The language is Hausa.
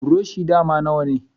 Buroshi dama nawane.